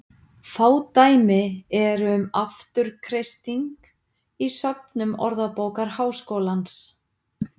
Fá dæmi eru um afturkreisting í söfnum Orðabókar Háskólans.